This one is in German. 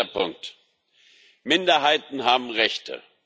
Dritter Punkt Minderheiten haben Rechte.